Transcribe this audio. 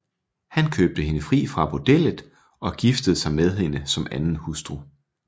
Han købte hende fri fra bordellet og giftede sig med hende som anden hustru